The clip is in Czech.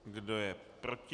Kdo je proti?